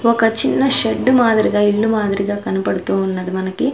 ఒక చిన్న షెడ్డు మాదిరిగా ఇల్లు మాదిరిగా కనపడుతూ ఉన్నది మనకి.